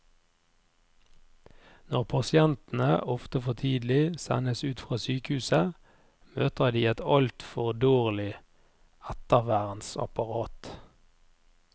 Når pasientene, ofte for tidlig, sendes ut fra sykehuset, møter de et altfor dårlig ettervernsapparat.